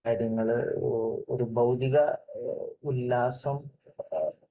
അതായത് നിങ്ങള് ഒരു ഭൌതിക ഉല്ലാസം